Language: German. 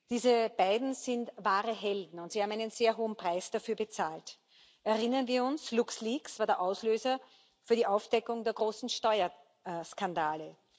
Diese beiden sind wahre Helden, und sie haben einen sehr hohen Preis dafür bezahlt Erinnern wir uns, LuxLeaks war der Auslöser für die Aufdeckung der großen Steuerskandale.